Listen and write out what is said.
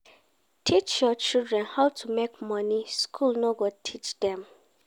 Teach your children how to make money school no go teach them